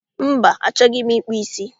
Mba, achọghị m ịkpụ ísí